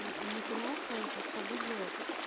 не поняла сразу сейчас погуглила